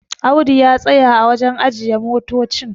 Audu ya tsaya a wajen ajiye motocin